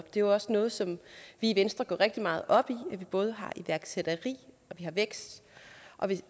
det er også noget som vi i venstre går rigtig meget op i at vi både har iværksætteri og vækst